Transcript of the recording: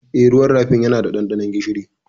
Eh, ruwan rafin yana da ɗanɗanon gishiri.